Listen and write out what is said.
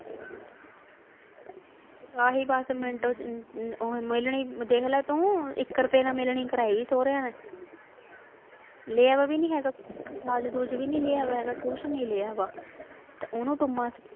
ਆਹੀਂ ਦਸ ਮਿੰਟ ਮਿਲਣੀ ਦੇਖ ਲਾ ਤੂੰ ਇੱਕ ਰੁਪਏ ਨਾਲ ਮਿਲਣੀ ਕਰਵਾਈ ਸਹੁਰਿਆ ਨੇ ਲਿਆ ਵੀ ਨਹੀਂ ਹੈਗਾ ਦਾਜ ਦੁੱਜ ਵੀ ਨਹੀਂਂ ਲਿਆ ਹੈਗਾ ਕੁੱਝ।